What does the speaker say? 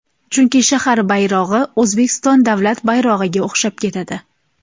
Chunki shahar bayrog‘i O‘zbekiston davlat bayrog‘iga o‘xshab ketadi.